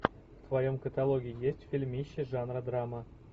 в твоем каталоге есть фильмище жанра драма